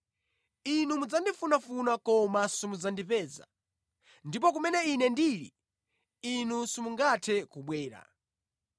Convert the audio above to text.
Inu mudzandifunafuna koma simudzandipeza; ndipo kumene Ine ndili inu simungathe kubwera.”